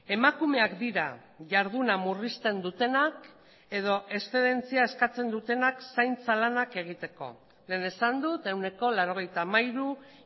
emakumeak dira jarduna murrizten dutenak edo eszedentzia eskatzen dutenak zaintza lanak egiteko lehen esan dut ehuneko laurogeita hamairu